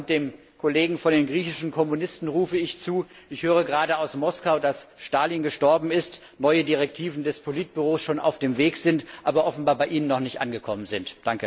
Dem Kollegen von den griechischen Kommunisten rufe ich zu Ich höre gerade aus Moskau, dass Stalin gestorben ist, neue Direktiven des Politbüros schon auf dem Weg sind, aber offenbar bei Ihnen noch nicht angekommen sind.